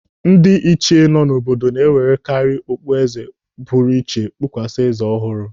Ndị ịchie nọ n'obodo na-ewerekari okpu eze pụrụ iche kpukwasa eze ọhụrụ.